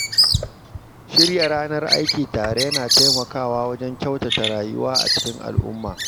Shirya ranar aiki tare yana taimakawa wajen kyautata rayuwa a cikin al'umma.